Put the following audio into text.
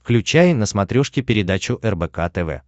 включай на смотрешке передачу рбк тв